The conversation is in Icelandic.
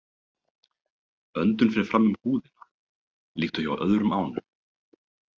Öndun fer fram um húðina líkt og hjá öðrum ánum.